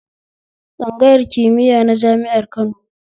Tsangayar kimiya na jami'ar Kano